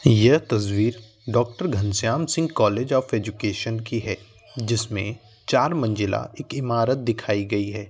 यह तस्वीर doctor Ghanshyam Singh college of education की है जिसमें चार मंजिला एक ईमारत दिखाय गयी है।